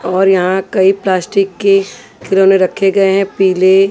और यहां कई प्लास्टिक के खिलोने रखे गए हैं पीले--